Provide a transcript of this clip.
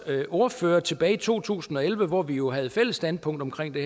ordfører sagde tilbage i to tusind og elleve hvor vi jo havde fælles standpunkt i